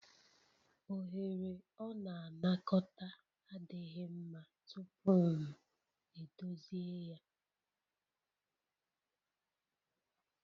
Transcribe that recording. Oghere ọ na-anakọta adịghị mma tupu m edozi ya